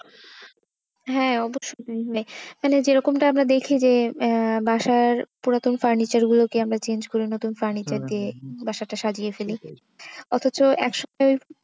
হ্যাঁ, মানে মানে যেরকম টা আমরা দেখি যে আহ বাসার পুরাতন furniture গুলোকে আমরা change করে নতুন furniture দিয়ে বাসাটা সাজিয়ে ফেলি। অথচ একসময়,